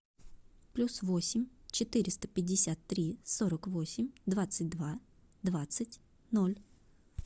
плюс восемь четыреста пятьдесят три сорок восемь двадцать два двадцать ноль